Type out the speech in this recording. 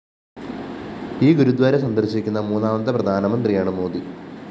ഈ ഗുരുദ്വാര സന്ദര്‍ശിക്കുന്ന മൂന്നാമത്തെ പ്രധാനമന്ത്രിയാണ് മോദി